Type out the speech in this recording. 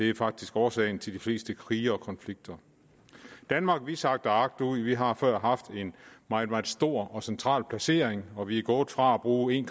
er faktisk årsag til de fleste krige og konflikter danmark sakker agterud vi har før haft en meget meget stor og central placering og vi er gået fra at bruge en